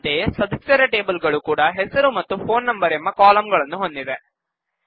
ಅಂತೆಯೇ ಸದಸ್ಯರ ಟೇಬಲ್ ಗಳೂ ಕೂಡ ಹೆಸರು ಮತ್ತು ಫೋನ್ ಎಂಬ ಕಾಲಂ ಗಳನ್ನು ಹೊಂದಿದೆ